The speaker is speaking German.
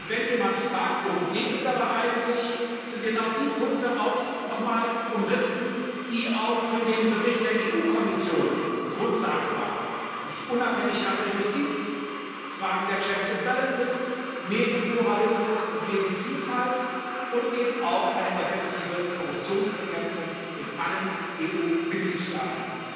Wenn jemand fragt, worum es dabei eigentlich geht, sind genau die Punkte auch noch einmal umrissen, die auch für den Bericht der EU Kommission Grundlage waren, nämlich die Unabhängigkeit der Justiz, Fragen der checks and balances Medienpluralismus und Medienvielfalt und eben auch eine effektive Korruptionsbekämpfung in allen EU Mitgliedstaaten.